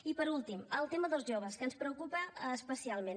i finalment el tema dels joves que ens preocupa especialment